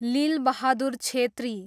Lilbahadur Chhetri